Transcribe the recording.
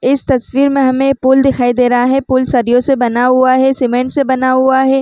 इस तस्वीर में हमे पूल दिखाई दे रहा हे पूल सरियो से बना हुआ सीमेंट से बना हुआ हे।